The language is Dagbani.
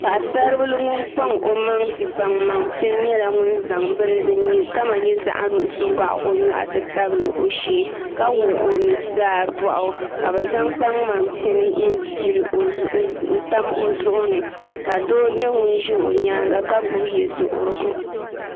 Paɣasari bili ŋun kpaŋ o maŋ di kpaŋ maŋ pini nyɛla ŋun zaɣ bini ga o nyoɣu ti tabili o shee ka wuɣi o nuzaa boɣu ka bi zaŋ kpaŋmaŋ pini n tam o zuɣu ni ka doo nyɛ ŋun ʒi o nyaanga ka gbubi yɛduɣurigu